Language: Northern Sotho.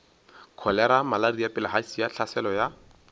kholera malaria bilharzia tlhaselo ya